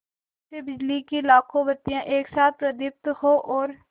जैसे बिजली की लाखों बत्तियाँ एक साथ प्रदीप्त हों और